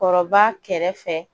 Kɔrɔba kɛrɛfɛ